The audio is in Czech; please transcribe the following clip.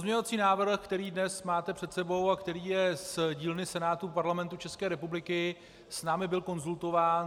Pozměňovací návrh, který dnes máte před sebou a který je z dílny Senátu Parlamentu České republiky, s námi byl konzultován.